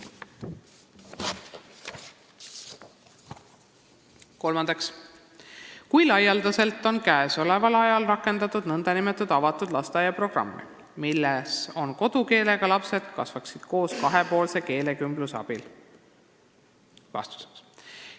Kolmandaks: "Kui laialdaselt on käesoleval ajal rakendatud nn avatud lasteaia programmi, milles eri kodukeelega lapsed kasvaksid koos kahepoolse keelekümbluse abil?